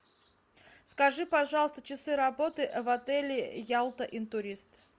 скажи пожалуйста часы работы в отеле ялта интурист